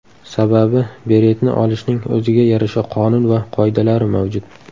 Sababi beretni olishning o‘ziga yarasha qonun va qoidalari mavjud.